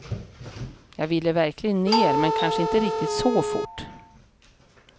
Jag ville verkligen ner, men kanske inte riktigt så fort.